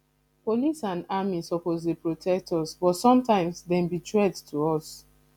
police and army suppose dey protect us but sometimes dem be threat to us